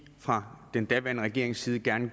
fra den daværende regerings side gerne